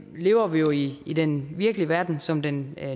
lever vi jo i i den virkelige verden som den